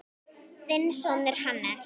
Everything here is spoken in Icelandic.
Þinn sonur, Hannes.